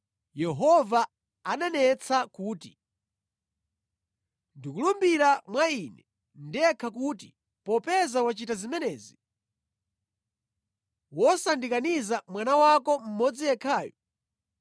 ndipo anati, “Ndikulumbira mwa Ine ndekha kuti popeza wachita zimenezi, wosandikaniza mwana wako mmodzi yekhayu,